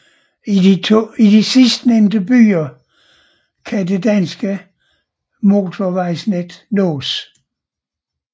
I de to sidstnævne byer kan det danske motorvejsnet nås